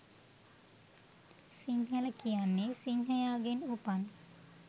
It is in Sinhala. සිංහල කියන්නේ සිංහයාගෙන් උපන්